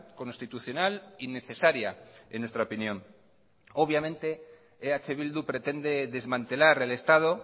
constitucional y necesaria en nuestra opinión obviamente eh bildu pretende desmantelar el estado